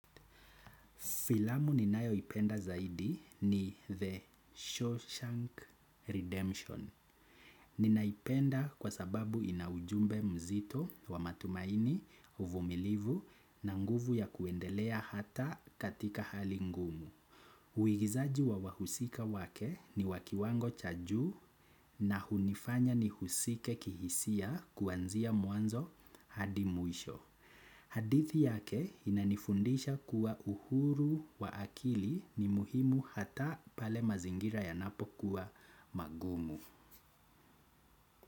Filamu ninayoipenda zaidi ni The Shawshank Redemption. Ninaipenda kwa sababu ina ujumbe mzito wa matumaini uvumilivu na nguvu ya kuendelea hata katika hali ngumu. Uigizaji wa wahusika wake ni wakiwango cha juu na hunifanya nihusike kihisia kuanzia mwanzo hadi mwisho. Hadithi yake inanifundisha kuwa uhuru wa akili ni muhimu hata pale mazingira yanapo kuwa magumu.